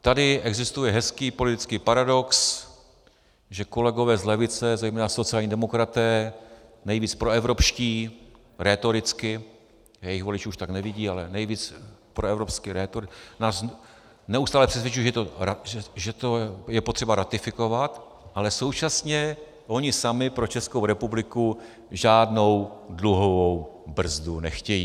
Tady existuje hezký politický paradox, že kolegové z levice, zejména sociální demokraté, nejvíc proevropští, rétoricky, jejich voliči už tak nevidí, ale nejvíc proevropsky, rétoricky, nás neustále přesvědčují, že to je potřeba ratifikovat, ale současně oni sami pro Českou republiku žádnou dluhovou brzdu nechtějí.